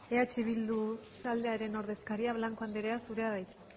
eh bildu taldearen ordezkaria blanco andrea zurea da hitza